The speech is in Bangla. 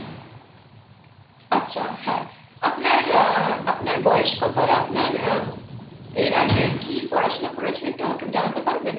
আচ্ছা হ্যাঁ আপনার আহ আপনার বয়স কতো আপনার আহ এর আগের কি পড়াশুনো করেছেন একটু আমাকে জানাতে পারবেন